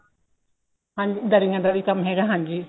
ਹਾਂਜੀ ਦਰੀਆਂ ਦਾ ਵੀ ਕੰਮ ਹੈਗਾ ਹਾਂਜੀ